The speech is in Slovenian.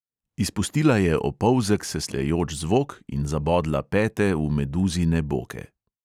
Izpustila je opolzek sesljajoč zvok in zabodla pete v meduzine boke.